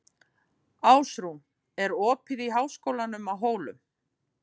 Ásrún, er opið í Háskólanum á Hólum?